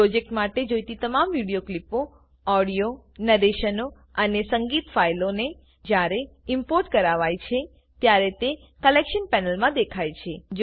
project માટે જોઈતી તમામ વિડીયો ક્લીપો ઓડીયો નેરેશનો અને સંગીત ફાઈલોને જ્યારે ઈમ્પોર્ટ કરાવાય છે ત્યારે તે કલેક્શન પેનલમાં દેખાય છે